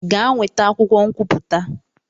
Gaa nweta akwụkwọ nkwupụta!